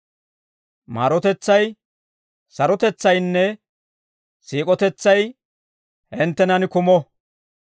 Maarotetsay, sarotetsaynne siik'otetsay hinttenan kumo.